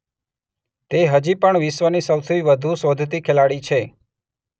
તે હજી પણ વિશ્વની સૌથી વધુ શોધતી ખેલાડી છે.